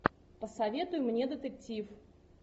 посоветуй мне детектив